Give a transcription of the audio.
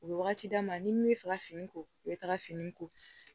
U bɛ wagati d'a ma ni min bɛ fɛ ka fini ko u bɛ taga fini ko